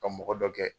Ka mɔgɔ dɔ kɛ